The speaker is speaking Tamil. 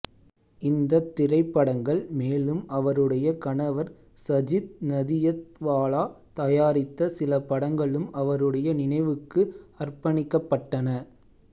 இந்தத் திரைப்படங்கள்மேலும் அவருடைய கணவர் சஜித் நதியத்வாலா தயாரித்த சில படங்களும்அவருடைய நினைவுக்கு அர்ப்பணிக்கப்பட்டன